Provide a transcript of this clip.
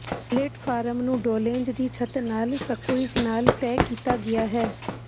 platform ਨੂੰ ਡੋਲੇਂਜ਼ ਦੀ ਛੱਤ ਨਾਲ ਸਕੂਇਜ਼ ਨਾਲ ਤੈਅ ਕੀਤਾ ਗਿਆ ਹੈ